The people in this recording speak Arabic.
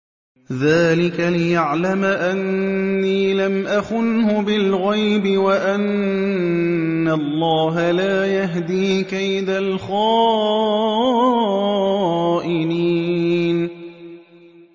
ذَٰلِكَ لِيَعْلَمَ أَنِّي لَمْ أَخُنْهُ بِالْغَيْبِ وَأَنَّ اللَّهَ لَا يَهْدِي كَيْدَ الْخَائِنِينَ